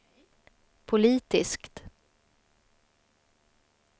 politiskt